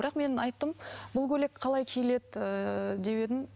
бірақ мен айттым бұл көйлек қалай киіледі ыыы деп едім